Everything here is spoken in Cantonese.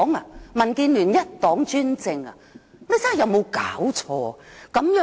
是民建聯一黨專政嗎？